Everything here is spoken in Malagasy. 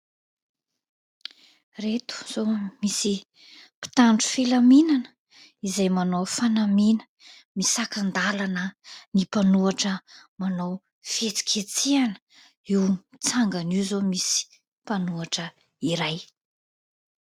Ireto izao misy mpitandro filaminana izay manao fanamiana, misakan-dalana ny mpanohitra manao fihetsiketsehana; io mitsangana io izao misy mpanohitra iray.